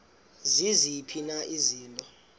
ziziphi na izinto